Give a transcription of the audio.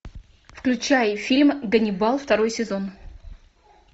включай фильм ганнибал второй сезон